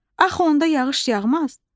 Axı onda yağış yağmaz?